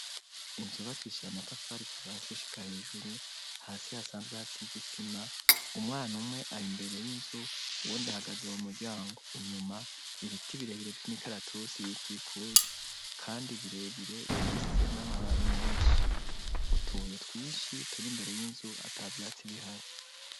Inzu yubakisha ye amatafarikuvasi gushika hejuru hasi hasanzwe hasizisima umwana umwe ari imbere y'inzu uwo nde hagaze mu muryango inyuma ibiti birebire vyumwo ikaratusi bikikuji, kandi birebire bifise n'amababi menshi utuye twishi turi imbere y'inzu ata vyatsi bihari.